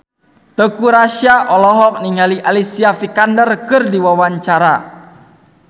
Teuku Rassya olohok ningali Alicia Vikander keur diwawancara